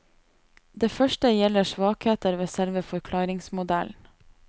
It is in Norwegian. Det første gjelder svakheter ved selve forklaringsmodellen.